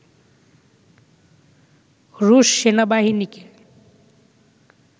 রুশ সেনাবাহিনীকে